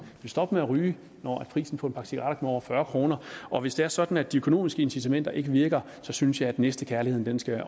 vil stoppe med ryge når prisen på en pakke cigaretter kommer over fyrre kroner og hvis det er sådan at de økonomiske incitamenter ikke virker synes jeg at næstekærligheden skal